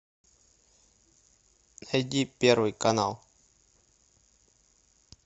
найди первый канал